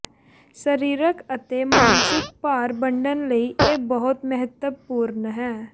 ਸਰੀਰਕ ਅਤੇ ਮਾਨਸਿਕ ਭਾਰ ਵੰਡਣ ਲਈ ਇਹ ਬਹੁਤ ਮਹੱਤਵਪੂਰਨ ਹੈ